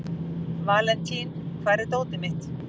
Valentín, hvar er dótið mitt?